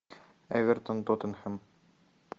эвертон тоттенхэм